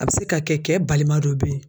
A bɛ se ka kɛ kɛ balima dɔ bɛ yen.